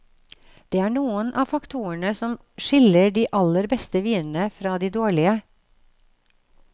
Det er noen av faktorene som skiller de aller beste vinene fra de dårlige.